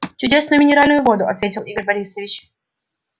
чудесную минеральную воду ответил игорь борисович